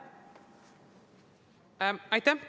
Aitäh!